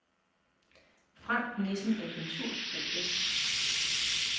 Frank Nissen Agentur A/S